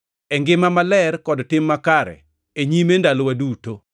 e ngima maler kod tim makare e nyime ndalowa duto.